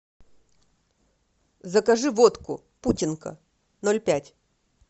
закажи водку путинка ноль пять